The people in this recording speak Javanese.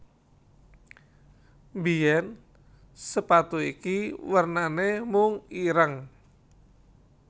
Mbiyén sepatu iki wernané mung ireng